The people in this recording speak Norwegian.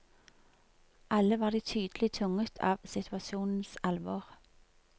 Alle var de tydelig tynget av situasjonens alvor.